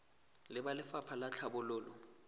le ba lefapha la tlhabololo